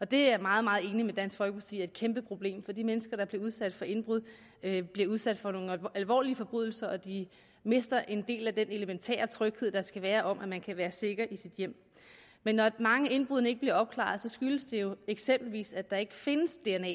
det er jeg meget meget enig med dansk folkeparti i er et kæmpeproblem for de mennesker der bliver udsat for indbrud bliver udsat for nogle alvorlige forbrydelser og de mister en del af den elementære tryghed der skal være om at man kan være sikker i sit hjem men når mange af indbruddene ikke bliver opklaret skyldes det jo eksempelvis at der ikke findes dna